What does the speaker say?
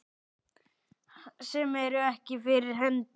Sem eru ekki fyrir hendi.